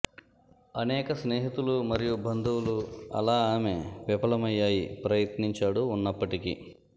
అనేక స్నేహితులు మరియు బంధువులు అలా ఆమె విఫలమయ్యాయి ప్రయత్నించాడు ఉన్నప్పటికీ